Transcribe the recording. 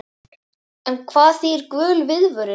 En hvað þýðir gul viðvörun?